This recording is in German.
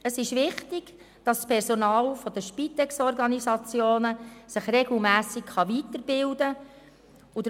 Es ist wichtig, dass sich das Personal der Spitex-Organisationen regelmässig weiterbilden kann.